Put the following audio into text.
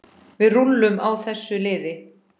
Við rúllum á þessu liði.